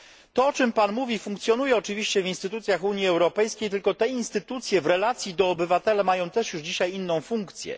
To, o czym Pan mówi, funkcjonuje oczywiście w instytucjach Unii Europejskiej, tylko te instytucje w relacji do obywatela mają też już dzisiaj inną funkcję.